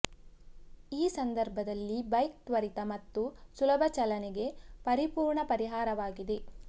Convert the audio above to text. ಈ ಸಂದರ್ಭದಲ್ಲಿ ಬೈಕ್ ತ್ವರಿತ ಮತ್ತು ಸುಲಭ ಚಲನೆಗೆ ಪರಿಪೂರ್ಣ ಪರಿಹಾರವಾಗಿದೆ